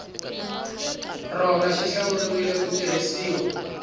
rona xi hlawuriwile ku tirhisiwa